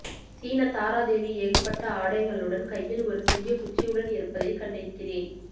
சீன தாராதேவி ஏகப்பட்ட ஆடைகளுடன் கையில் ஒரு சிறிய குச்சியுடன் இருப்பதைக் கண்டிருக்கிறேன்